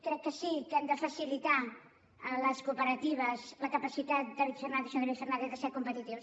crec que sí que hem de facilitar a les cooperatives la capacitat senyor david fernàndez de ser competitius